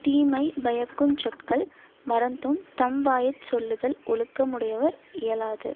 தீமைபயக்குஞ் சொற்கள் மறந்தும் தம்வாயற் சொல்லுதல் ஒழுக்க முடையவர் இயலாது